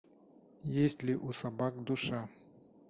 есть ли у собак душа